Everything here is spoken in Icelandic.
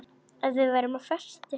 Að við værum á föstu.